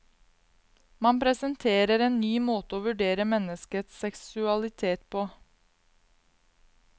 Man presenterer en ny måte å vurdere menneskets seksualitet på.